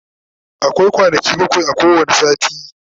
akwai kwanaki bakwai a kowani sati